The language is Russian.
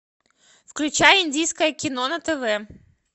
включай индийское кино на тв